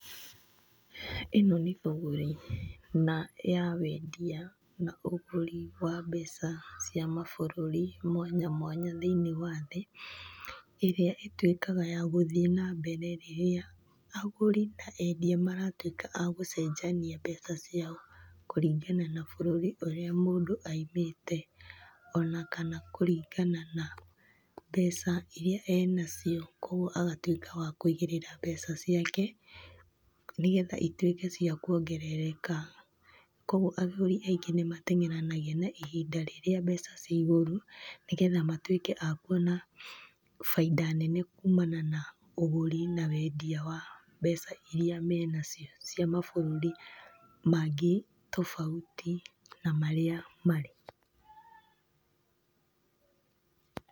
ĩno nĩ thũgũrĩ, na ya wendia na ũgũri wa mbeca cia mabũrũri mwanya mwanya thĩinĩ wa thĩ. ĩrĩa ĩtuĩkaga ya gũthiĩ na mbere rĩrĩa, agũri na endia maratuĩka agũcenjania mbeca ciao kũringana na bũrũri ũrĩa mũndũ aimĩte, ona kana kũringana na, mbeca iria arĩ nacio. Koguo agatuĩka wa kũigĩrĩra mbeca ciake, nĩgetha ituĩke cia kũongerereka. Koguo agũri aingĩ nĩmateng'eranagia ihinda rĩrĩa mbeca hĩndĩ ĩrĩa mbeca cirĩ igũrũ nĩgetha matuĩke akuona, baida nene kumana na ũgũri na wendia wa mbeca iria menacio, cia mabũrũri mangĩ tofauti na marĩa marĩ.